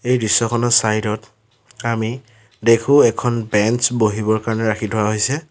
এই দৃশ্যখনৰ চাইড ত আমি দেখো এখন বেঞ্চ বহিবৰ কাৰণে ৰাখি থোৱা হৈছে।